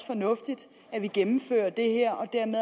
fornuftigt at vi gennemfører det her og